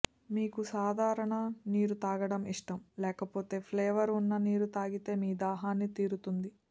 మీకు సాధారణ నీరు తాగటం ఇష్టం లేకపోతే ఫ్లేవర్ ఉన్న నీరు తాగితే మీ దాహాన్ని తీరుతుంది